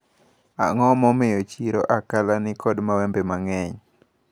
Ang`o momiyo chiro Akala nikod mawembe mang`eny?